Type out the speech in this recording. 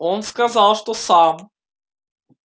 он сказал что сам